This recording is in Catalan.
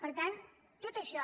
per tant tot això